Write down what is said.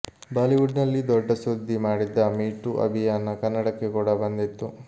Bollywood ನಲ್ಲಿ ದೊಡ್ಡ ಸುದ್ದಿ ಮಾಡಿದ್ದ ಮೀಟೂ ಅಭಿಯಾನ ಕನ್ನಡಕ್ಕೆ ಕೂಡ ಬಂದಿತ್ತು